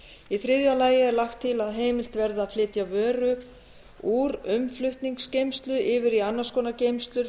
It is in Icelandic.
í þriðja lagi er lagt til að heimilt verði að flytja vöru úr umflutningsgeymslu yfir í annars konar geymslur